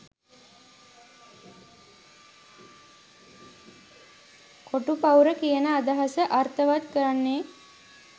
කොටු පවුර කියන අදහස අර්ථවත් කරන්නේ